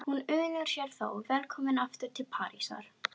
Hún unir sér þó vel komin aftur til Parísar.